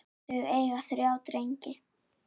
Þau eiga þrjá drengi.